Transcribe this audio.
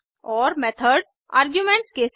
और methods arguments के साथ